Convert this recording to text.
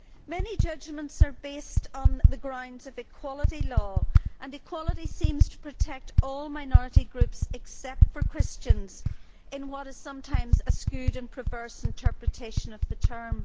Many judgments are based on the grounds of equality law, and equality seems to protect all minority groups except for Christians in what is sometimes a skewed and perverse interpretation of the term.